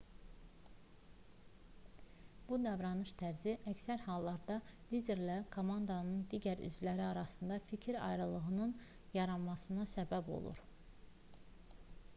bu davranış tərzi əksər hallarda liderlərlə komandanın digər üzvləri arasında fikir ayrılığının yaranmasına səbəb olur